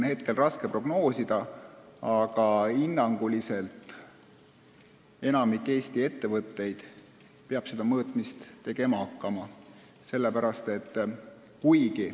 Hinnanguliselt peab seda mõõtmist tegema hakkama enamik Eesti ettevõtteid.